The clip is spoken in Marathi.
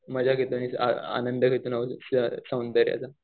मजाच येते आनंद होतो सौंदर्याचा.